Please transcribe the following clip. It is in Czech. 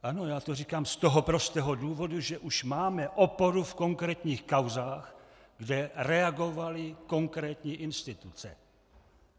Ano, já to říkám z toho prostého důvodu, že už máme oporu v konkrétních kauzách, kde reagovaly konkrétní instituce.